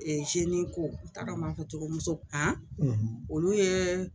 n t'a dɔn m'a cogo muso olu yee